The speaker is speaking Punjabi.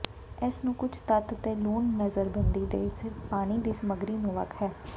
ਇਸ ਨੂੰ ਕੁਝ ਤੱਤ ਅਤੇ ਲੂਣ ਨਜ਼ਰਬੰਦੀ ਦੇ ਸਿਰਫ ਪਾਣੀ ਦੀ ਸਮੱਗਰੀ ਨੂੰ ਵੱਖ ਹੈ